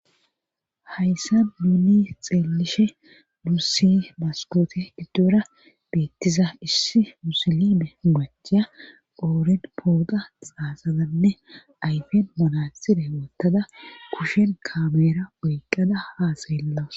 Hayssa duuni xeelishe dussi maskoote giddora beettiza issi musilime macheya qooren pooqa xaasazanne ayfen manatside wottada kushen kameera woyqqada haaseellaws.